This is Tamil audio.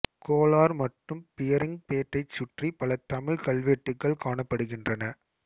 கோலார் மற்றும் பியரிங்ம்பெட்டைச் சுற்றி பல தமிழ் கல்வெட்டுகள் காணப்படுகின்றன